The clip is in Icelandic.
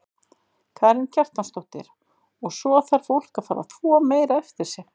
Karen Kjartansdóttir: Og svo þarf fólk að fara að þvo meira eftir sig?